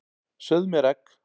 Sauð mér egg.